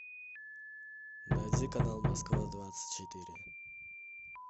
найди канал москва двадцать четыре